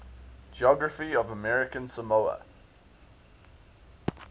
geography of american samoa